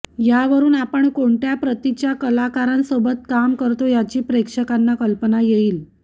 यावरुन आपण कोणत्या प्रतीच्या कलाकारांसोबत काम करतो याची प्रेक्षकांना कल्पना येईल